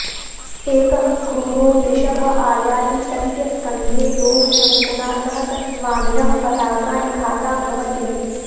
एकः क्रूरो वृषभ आयाति तस्य् स्कन्धे लोहशङ्कुना सह तत्स्वामिनः पताका निखाता भवति